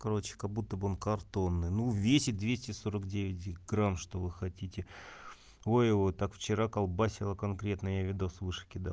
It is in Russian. короче как будто бы он картонный ну весит двести сорок девять грамм что вы хотите ой его так вчера колбасило конкретно я видео выше кидал